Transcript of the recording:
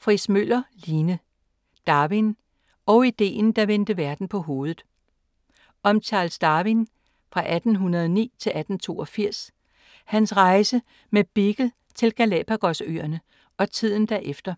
Friis Møller, Line: Darwin - og idéen der vendte verden på hovedet Om Charles Darwin (1809-1882), hans rejse med Beagle til Galapagos-øerne og tiden derefter